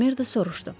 Mak Merdo soruşdu.